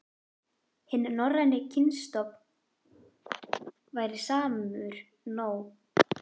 Hinn norræni kynstofn væri samur nú og fyrir þúsundum ára.